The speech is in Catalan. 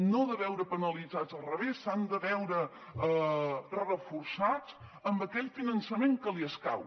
no de veure penalitzats al revés s’han de veure reforçats amb aquell finançament que els escau